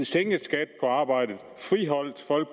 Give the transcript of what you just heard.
sænkede skatten på arbejde friholdt folk